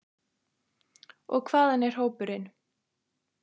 Og hvaðan er hópurinn?